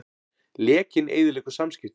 Lekinn eyðileggur samskipti